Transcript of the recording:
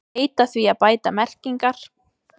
Heita því að bæta merkingar